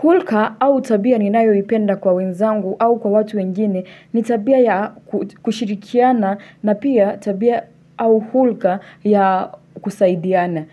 Hulka au tabia ni nayoipenda kwa wenzangu au kwa watu wengine ni tabia ya kushirikiana na pia tabia au hulka ya kusaidiana.